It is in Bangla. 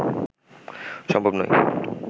সম্ভব নয়